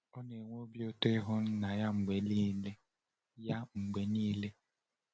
Ọ na-enwe obi ụtọ n’ihu Nna ya mgbe niile. ya mgbe niile.